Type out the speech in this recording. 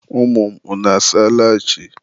Ụmụ m, unu asaala chi?